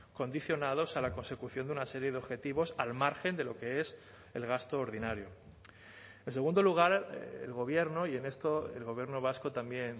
condicionados a la consecución de una serie de objetivos al margen de lo que es el gasto ordinario en segundo lugar el gobierno y en esto el gobierno vasco también